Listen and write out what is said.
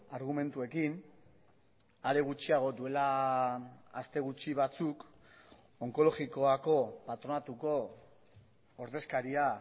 argumentuekin are gutxiago duela aste gutxi batzuk onkologikoako patronatuko ordezkaria